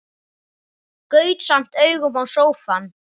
Gaut samt augum á sófann.